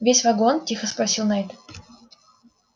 весь вагон тихо спросил найд